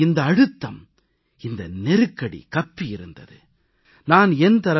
அவர்கள் முகங்களில் இந்த அழுத்தம் இந்த நெருக்கடி கப்பியிருந்தது